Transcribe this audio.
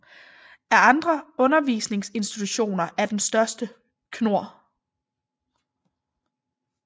Af andre undervisningsinstitutioner er den største Knord